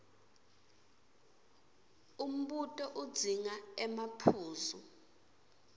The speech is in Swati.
umbuto udzinga emaphuzu